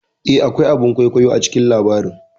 Eh, akwai a bin kwaikwayo a cikin labarin